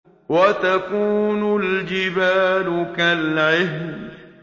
وَتَكُونُ الْجِبَالُ كَالْعِهْنِ